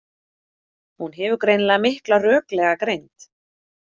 Hún hefur greinilega mikla röklega greind.